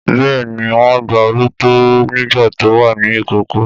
Bẹ́ẹ̀ ni, wọ́n gba Olú tọ́ nígbà tó wà ní ìkókó.